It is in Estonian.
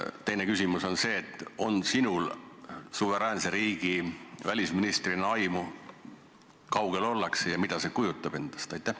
Teine küsimus on, kas sinul suveräänse riigi välisministrina on aimu, kui kaugel sellega ollakse ja mida need muudatused endast kujutavad.